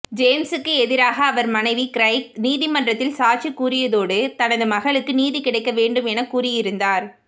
ஜேம்ஸுக்கு எதிராக அவர் மனைவி கிரைக் நீதிமன்றத்தில் சாட்சி கூறியதோடு தனது மகளுக்கு நீதி கிடைக்க வேண்டும் என கூறியிருந்தார்